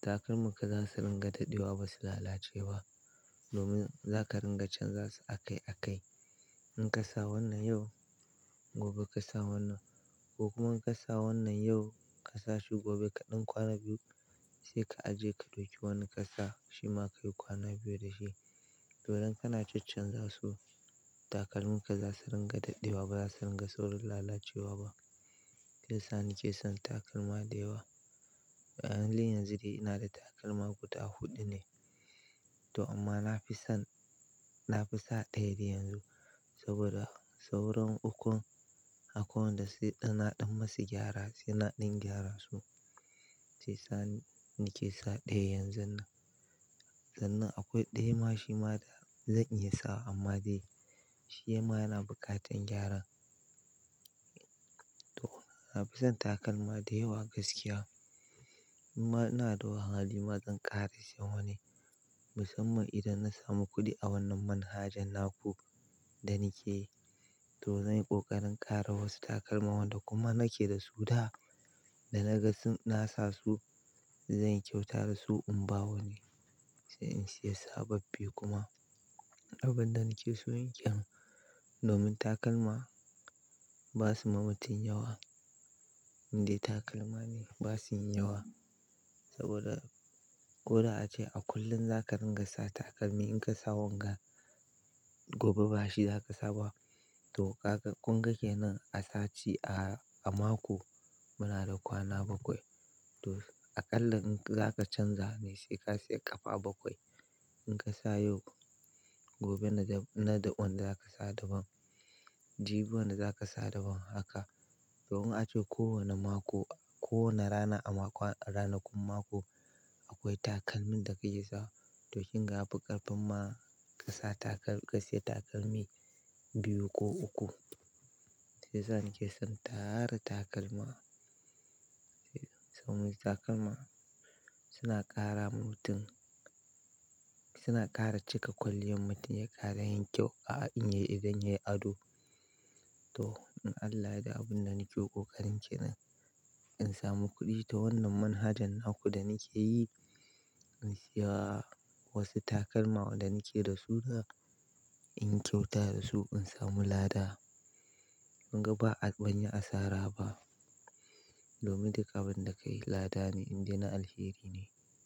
takalman ka za su ringa daɗewa ba su lalacewa. Domin za ka ringa canza su a kai a kai. In ka sa wannan yau, gobe ka sa wannan. Ko kuma in ka sa wannan yau ka sa shi gobe ka ɗin kwana biyu sai ka ajiye ka ɗauki wani ka sa shi ma ka yi kwana biyu da shi. To idan kana caccanza su takalminka za su ringa daɗewa ba za su ringa saurin lalacewa ba. Shi yasa nake son takalma da yawa. A halin yanzu dai ina da takalma guda huɗu ne. To amma na fi son, na fi sa ɗaya dai yanzu. Saboda sauran ukun akwai wanda sai ɗan na dan musu gyara, sai na ɗan gyara su. Shi yasa nake sa ɗaya yanzu nan sannan akwai ɗaya ma shi ma zan iya sawa amma dai shima yana buƙatar gyara. To na fi son takalma da yawa gaskiya. Imma ina da hali bazan ƙara siyan wani. Musamman idan na samu kuɗi a wannan manhajan naku da nake yi. To zan yi ƙoƙarin ƙara wasu takalma wanda kuma nake da su da, da na ga sun nasa su zan yi kyauta da su in ba wani. Sai in siya sababbi kuma. Abun da nake so yin kenan, domin takalma ba su ma matum yawa. Indai takalma ne ba su yin yawa. Saboda ko da ace a kullum za ka ringa sa takalmi in ka sa wanga gobe bashi za ka sa ba. To kaga kunga kenan a sati, a mako muna da kwana bakwai. To aƙalla in za ka canza ne sai ka siya ƙafa bakwai. In ka sa yau, gobe na daban, na daban da za ka sa daban. Jibi wanda za ka sa daban haka. Domun ace ko wane mako, ko wane rana a ranakun mako akwai takalmin da kake sa. To kin ga abin ƙarfin ma ka sa takal ka sai takalmi biyu ko uku. Shi yasa na ke son tara takalma. Saboda takalma suna ƙara ma mutum, suna ƙara cika kwaliyan mutum ya ƙara yin kyau a idon yayi ado. To in Allah ya da abin da nake ƙoƙarin ke nan, in samu kuɗi ta wannan manhajan naku da nake yi, in siya wasu takalma wanda nake da su da, in yi kyauta da su in samu lada. Kunga ba a, ban yi asara ba. Domin duk abinda ka yi lada ne indai na alheri ne.